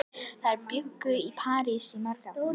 Þær bjuggu í París í mörg ár.